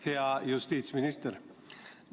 Hea justiitsminister!